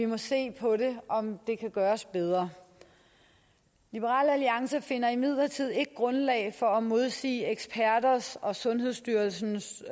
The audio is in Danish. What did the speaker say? vi se på om det kan gøres bedre liberal alliance finder imidlertid ikke grundlag for at modsige eksperters og sundhedsstyrelsens